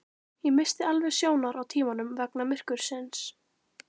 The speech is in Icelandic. Ég missti alveg sjónar á tímanum vegna myrkursins